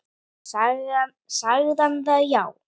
Sagði hann það já.